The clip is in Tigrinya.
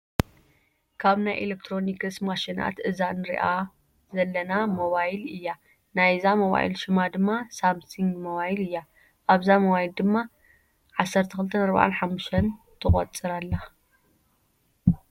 ካብ ናይ ኤሌክትሮኒክስ ማሽናት እዛ እንሪኣ ለጨዘለና ሞባይ እያ። ናይ ዛ ሞባይ ሽማ ድማ ሳምሲግ ሞባይል እያ። ኣብዛ ሞባይል ድማ 12:45 ትቆፅር ኣላ።